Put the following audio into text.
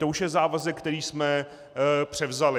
To už je závazek, který jsme převzali.